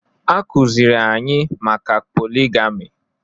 A kụziri anyị maka poligami